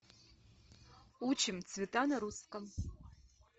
учим цвета на русском